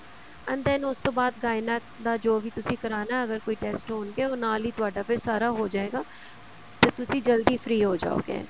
and than ਉਸ ਤੋਂ ਬਾਅਦ Gynec ਦਾ ਜੋ ਵੀ ਤੁਸੀਂ ਕਰਾਣਾ ਅਗਰ ਕੋਈ test ਹੋਣਗੇ ਉਹ ਨਾਲ ਹੀ ਤੁਹਾਡਾ ਫ਼ਿਰ ਸਾਰਾ ਹੋ ਜਾਏਗਾ ਤੇ ਤੁਸੀਂ ਜਲਦੀ free ਹੋ ਜਾਓਗੇ